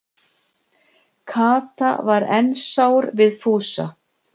Kata var enn sár við Fúsa.